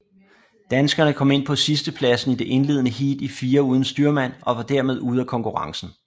Danskerne kom ind på sidstepladsen i det indledende heat i firer uden styrmand og var dermed ude af konkurrencen